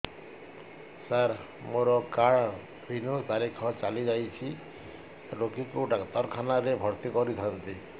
ସାର ମୋର card renew ତାରିଖ ଚାଲି ଯାଇଛି ରୋଗୀକୁ ଡାକ୍ତରଖାନା ରେ ଭର୍ତି କରିଥାନ୍ତି